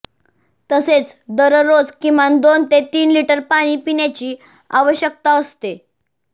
तसेच दरोरज किमान दोन ते तीन लिटर पाणी पिण्याची आवश्यकता असते